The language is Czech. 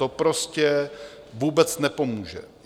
To prostě vůbec nepomůže.